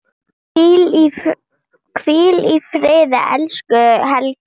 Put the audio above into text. Hvíl í friði, elsku Helga.